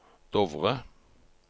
Dovre